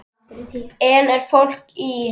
Enn er fólk í